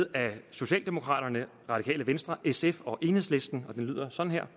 af socialdemokraterne radikale venstre sf og enhedslisten og det lyder sådan her